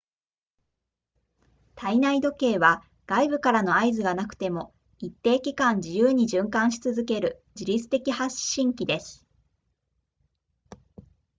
体内時計は外部からの合図がなくても一定期間自由に循環し続ける自立的発振器です